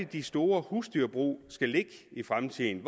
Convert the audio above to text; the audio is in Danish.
de store husdyrbrug skal ligge i fremtiden